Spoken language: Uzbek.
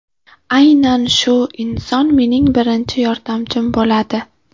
Aynan shu inson mening birinchi yordamchim bo‘ladi.